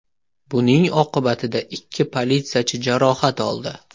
Buning oqibatida ikki politsiyachi jarohat oldi.